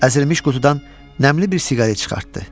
Əzilmiş qutudan nəmli bir siqaret çıxartdı.